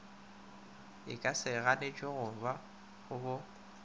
e ka se ganetšwego bo